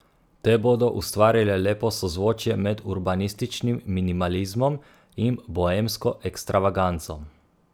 Te bodo ustvarile lepo sozvočje med urbanističnim minimalizmom in boemsko ekstravaganco.